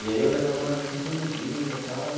E aí eu levava a marmita todo dia tal.